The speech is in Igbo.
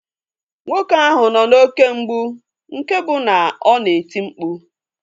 Nwoke ahụ nọ n'oké mgbụ nke bụ na ọ na-eti mkpu